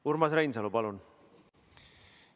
Urmas Reinsalu, palun!